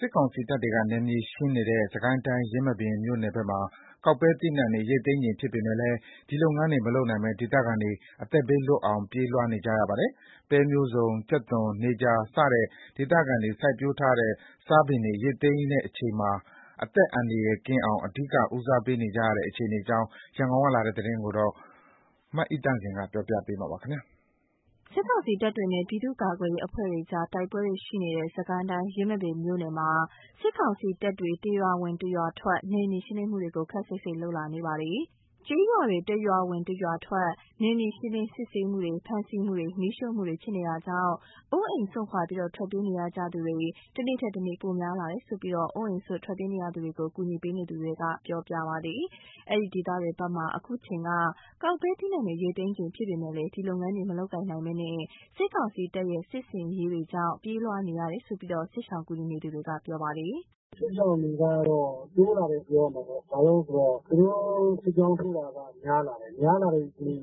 စစ်ကောင်စီတပ်တွေက နယ်မြေရှင်းနေတဲ့ စစ်ကိုင်းတိုင်း ယင်းမာပင်မြို့နယ်ဘက်မှာ ကောက်ပဲသီးနှံတွေ ရိတ်သိမ်းချိန်ဖြစ်ပေမယ့် ဒီလုပ်ငန်းတွေ မလုပ်နိုင်ဘဲ ဒေသခံတွေ အသက်ဘေးလွတ်အောင် ပြေးလွှားနေကြရပါတယ်။ ပဲမျိုးစုံ၊ ကြက်သွန်၊ နေကြာစတဲ့ ဒေသခံတွေ စိုက်ပျိုးထားတဲ့ စားပင်တွေ ရိတ်သိမ်းရမယ့်အချိန်မှာ အသက်အန္တရာယ်ကင်းအောင် အဓိကဦးစားပေးနေကြရတဲ့ အခြေအနေအကြောင်း ရန်ကုန်ကလာတဲ့ သတင်းကို မအိသန့်စင်က တင်ပြပေးထားပါတယ်။ စစ်ကောင်စီတပ်တွေနဲ့ ပြည်သူ့ကာကွယ်ရေးအဖွဲ့တွေကြား တိုက်ပွဲတွေရှိနေတဲ့ စစ်ကိုင်းတိုင်း ယင်းမာပင်မြို့ နယ်မှာ စစ်ကောင်စီတပ်တွေ တရွာဝင် တရွာထွက် နယ်မြေရှင်းလင်းမှုတွေကို ခပ်စိတ်စိတ်လုပ်လာနေပါတယ်။ ကျေးရွာတွေ တရွာဝင် တရွာထွက် နယ်မြေရှင်းလင်း စစ်ဆေးမှုတွေ၊ ဖမ်းဆီးမှုတွေ၊ မီးရှို့မှုတွေ ဖြစ်နေတာကြောင့် အိုးအိမ်ပစ် ထွက်ပြေးနေကြရသူတွေ တနေ့ထက်တနေ့ ပိုများလာတယ်လို့ အိုးအိမ်စွန့် ထွက်ပြေးနေရသူတွေကို ကူညီပေးနေသူတွေက ပြောပြပါတယ်။ အဲဒီဒေသတွေဘက်မှာ အခုအချိန်က ကောက်ပဲသီးနှံတွေ ရိတ်သိမ်းချိန်ဖြစ်ပေမယ့် ဒီလုပ်ငန်းတွေ မလုပ်ကိုင်နိုင်ဘဲ စစ်ကောင်စီတပ်ရဲ့ စစ်ဆင်ရေးကြောင့် ပြေးလွှား နေကြရတာလို့ စစ်ရှောင်ကူညီနေသူက ပြောပါတယ်။ “စစ်ရှောင်တွေကတော့ တိုးလာတယ်ပြောရမှာပေါ့။ ဘာလို့ဆိုတော့ သူတို့ စစ်ကြောင်းထိုးတာက များလာတယ်။ အများအားဖြင့် ရွာတွေက ပြေး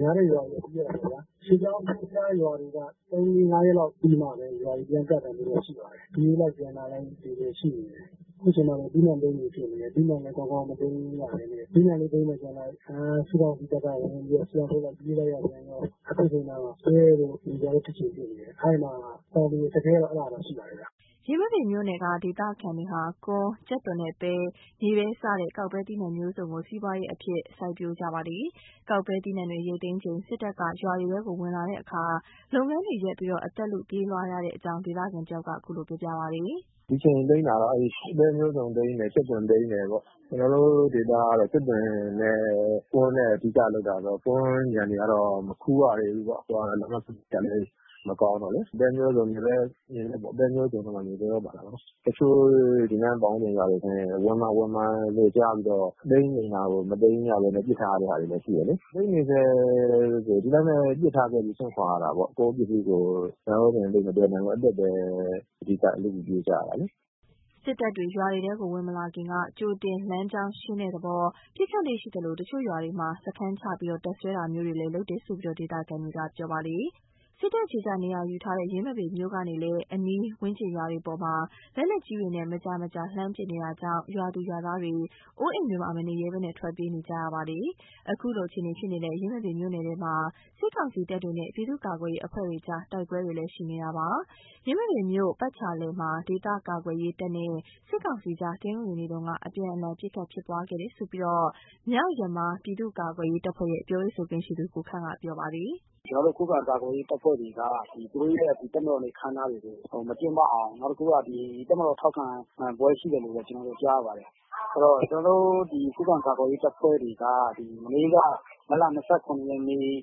ရတာပေါ့ဗျ။ စစ်ကြောင်းထိုးထားတဲ့ ရွာတွေက ၃- ၄- ၅ ရက်လောက်ပြီးမှပဲ ရွာတွေ ပြန်ကပ်တာမျိုးတော့ ရှိပါတယ်။ ပြေးလိုက်ပြန်လာလိုက်တွေလည်း ရှိနေတယ်။ အခုချိန်မှာဆိုရင် သီးနှံသိမ်းချိန်ဖြစ်နေတယ်။ သီးနှံလည်း ကောင်းကောင်းမသိမ်းနိုင်၊ သီးနှံကိုသိမ်းမယ်လုပ်လိုက် စစ်ကောင်စီတပ်က ဝင်ပြီးတော့ စစ်ကြောင်းထိုးလိုက် ပြေးလိုက်ရပြန်ရော အခုချိန်မှာ ပဲတို့ မြေပဲတို့ ကောက်ချိန်ဖြစ်နေတယ်။ အဲ့မှာ တောင်သူအခက်အခဲကတော့ အဲ့ဒါတော့ ရှိပါတယ်ဟုတ်။” ယင်းမာပင်မြို့နယ်က ဒေသခံတွေဟာ ကွမ်း၊ ကြက်သွန်နဲ့ ပဲ၊ မြေပဲစတဲ့ ကောက်ပဲသီးနှံမျိုးစုံကို စီးပွားရေးအဖြင့် စိုက်ပျိုးကြပါတယ်။ ကောက်ပဲသီးနှံတွေ ရိတ်သိမ်းချိန် စစ်တပ်က ရွာတွေထဲ ဝင်လာတဲ့အခါ လုပ်ငန်းတွေရပ်ပြီး အသက်လု ပြေးလွှားရတဲ့အကြောင်း ဒေသခံတယောက်ကလည်း ခုလိုပြောပါတယ်။ “ဒီအချိန် သိမ်းတာတော့ အဲ့ပဲမျိုးစုံသိမ်းတယ်။ ကြက်သွန်သိမ်းတယ်ပေါ့။ ကျနော်တို့ ဒေသကတော့ ကြက်သွန် နဲ့ ကွမ်းနဲ့ အဓိကလုပ်တာဆိုတော့ ကွမ်းခြံတွေကတော့ မခူးရသေးဘူးပေါ့။ လမ်းပန်းဆက်သွယ်ရေးကလည်း မကောင်းတော့လေး။ ပဲမျိုးစုံ မြေပဲပေါ့၊ ပဲမျိုးစုံလည်း ပါတယ်။ မြေပဲလည်း ပါတာပေါ့နော်။ တချို့ ဒီနားပတ်ဝန်းကျင်တွေဆိုရင် ဝင်မှာ ဝင်မှာလို့ ကြားပြီးတော့ သိမ်းချိန်တာကို မသိမ်းရဘဲနဲ့ ပစ်ထားတဲ့ဟာတွေလည်း ရှိတယ်လေး။ သိမ်းနေဆဲဆိုရင် ဒီတိုင်းပဲ ပစ်ထားခဲ့ပြီး စွန့်ခွာရတာပေါ့။ ကိုယ့် ပစ္စည်းကိုယ် သံယောဇဉ်သိပ်မသယ်နိုင်ဘူးပေါ့။ အသက်ပဲ အဓိက လုပြီးပြေးကြရတာလေ။” စစ်တပ်တွေ ရွာတွေထဲ ဝင်မလာခင်ကတည်းက ကြိုတင်လမ်းကြောင်းရှင်းတဲ့သဘော ပစ်ခတ်လေ့ရှိသလို တချို့ရွာတွေမှာ စခန်းချ တပ်စွဲတာမျိုးတွေလည်း လုပ်တယ်လို့ ဒေသခံတွေက ပြောပါတယ်။ စစ်တပ် အခြေ ချ နေရာယူထားတဲ့ ယင်းမာပင်မြို့ကနေလည်း အနီးဝန်းကျင်ရွာတွေအပေါ် လက်နက်ကြီးတွေနဲ့ မကြာ မကြာလှမ်းပစ်နေတာကြောင့် ရွာသူ ရွာသားတွေ နေအိမ်တွေမှာ မနေရဲဘဲ ထွက်ပြေးနေကြရတာဖြစ်ပါတယ်။ ခုလိုအခြေအနေဖြစ်နေတဲ့ ယင်းမာပင်မြိုှု့နယ်ထဲမှာ စစ်ကောင်စီတပ်တွေနဲ့ ပြည်သူ့ကာကွယ်ရေးအဖွဲ့တွေကြား တိုက်ပွဲတွေလည်း ရှိနေပါတယ်။ ယင်းမာပင်မြို့ပတ်ချာလည်မှာ ဒေသကာကွယ်ရေးတပ်နဲ့ စစ်ကောင်စီအကြား တနင်္ဂနွေနေ့က အပြန်အလှန် ပစ်ခတ်ဖြစ်ပွားခဲ့တယ်လို့ မြောက်ယမား ပြည်သူ့ကာကွယ်ရေးတပ်ဖွဲ့ရဲ့ ပြောရေးဆိုခွင့်ရှိသူ ကိုခန့်က ပြောပါတယ်။ “ကျနော်တို့ရဲ့ ခုခံကာကွယ်ရေးတပ်ဖွဲ့တွေက သူတို့ရဲ့ ဒီတပ်မတော်နေ့အခမ်းအနားတွေကို မကျင်းပအောင် နောက်တခုက တပ်မတော်ထောက်ခံပွဲရှိတယ်လို့ပဲ ကျနော်တို့ ကြားရပါတယ်။ အဲ့တော့ ဒီခုခံကာကွယ်ရေးတပ်တွေက မနေ့က မတ်လ ၂၇ ရက်နေ့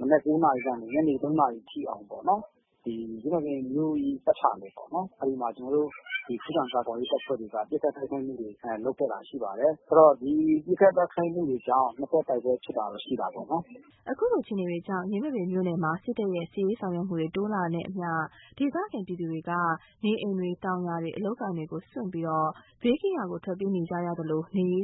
မနက် ၉ နာရီကနေ ညနေ ၃နာရီထိအောင်ပေါ့နော်။ ယင်းမာပင်မြို့ရဲ့ ပတ်ချာလည်ပေါ့နော်။ အဲ့မှာ ကျနော်တို့ ခုခံကာကွယ်ရေးတပ်ဖွဲ့တွေက ပစ်ခတ်တိုက်ခိုက်မှုတွေ လုပ်ခဲ့တာရှိပါတယ်။ ဆိုတော့ ဒီပစ်ခတ်တိုက်ခိုက်မှုတွေကြောင့် နှစ်ဘက်တိုက်ပွဲဖြစ်တာတော့ ရှိတာပေ့ါနော်။” ခုလိုအခြေအေနေတွေကြောင့် ယင်းမာပင်မြို့နယ်မှာ စစ်တပ်ရဲ့ စစ်ရေးဆောင်ရွက်မှုတွေ တိုးနေတာနဲ့အမျှ ဒေသခံပြည်သူတွေမှာ နေအိမ်တွေ၊ တောင်ယာတွေ၊ အလုပ်အကိုင်တွေကို စွန့်ပြီး ဘေးကင်းရာ ထွက်ပြေးနေကြရသလို နေရေး